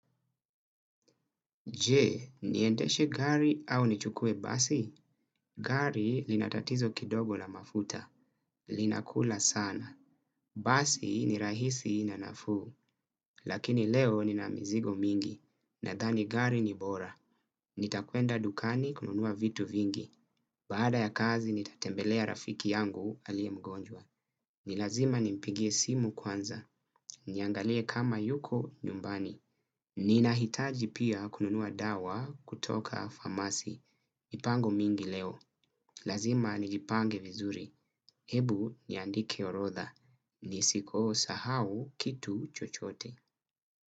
Jee, niendeshe gari au nichukue basi? Gari linatatizo kidogo la mafuta. Linakula sana. Basi ni rahisi na nafuu. Lakini leo nina mizigo mingi. Nadhani gari ni bora. Nitakuenda dukani kununua vitu vingi. Baada ya kazi, nitatembelea rafiki yangu alie mgonjwa. Nilazima nimpigie simu kwanza. Niangalie kama yuko nyumbani. Ninahitaji pia kununua dawa kutoka famasi. Pango mingi leo. Lazima nijipange vizuri. Ebu niandike orodha. Nisiko sahau kitu chochote.